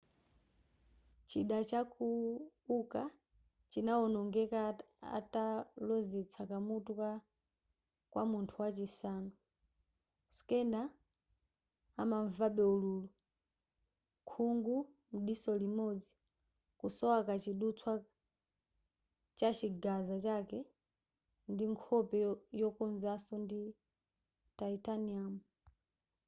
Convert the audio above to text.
chida cha uka chinaonongeka atalozetsa kumutu kwa munthu wachisanu schneider amanvabe ululu khungu mdiso limodzi kusowa kachidutswa chachigaza chake ndi nkhope yokozanso ndi titanium